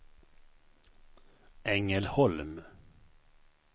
Ängelholm